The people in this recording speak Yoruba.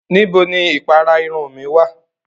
Nibó ni ìpàrà ìrun mi wa?